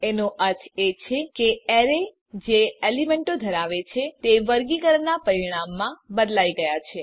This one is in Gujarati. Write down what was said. એનો અર્થ એ છે કે એરે જે એલીમેન્તો ધરાવે છે તે વર્ગીકરણનાં પરિણામમાં બદલાઈ ગયા છે